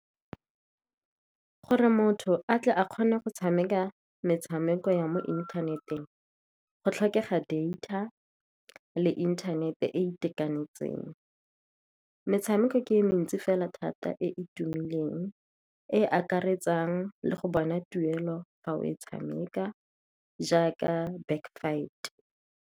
Gore motho a kgone go tshameka metshameko ya mo inthaneteng, go tlhokega data le internet e e itekanetseng. Metshameko e mentsi fela thata e e tumileng e e akaretsa le go bona tuelo fa o e tshameka, jaaka Back Fight.